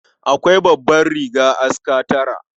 Akwai babbar riga aska tara.